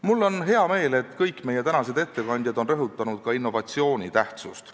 Mul on hea meel, et kõik meie tänased ettekandjad rõhutasid ka innovatsiooni tähtsust.